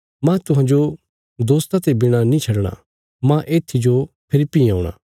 मांह तुहांजो दोस्ता ते बिणा नीं छडणा मांह येत्थी जो फेरी भीं औणा